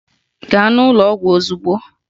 Gaa n'ụlọ ọgwụ ozugbo!